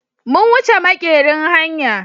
mun wuche makerin a hanya.